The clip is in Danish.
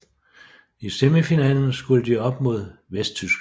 I semifinalen skulle de op mod Vesttyskland